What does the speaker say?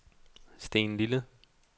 Stenlille